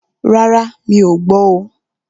Rárá, mí ọ̀ gbọ́ oo.